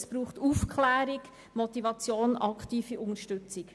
Es braucht Aufklärung, Motivation und aktive Unterstützung.